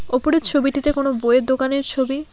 ওপরের ছবিটিতে কোনো বইয়ের দোকানের ছবি।